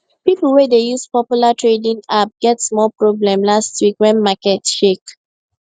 people wey dey use popular trading app get small problem last week when market shake